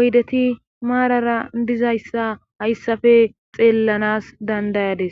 oydeti maarara dizayssa hayssafe xeellanas dandayades.